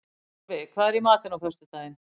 Torfi, hvað er í matinn á föstudaginn?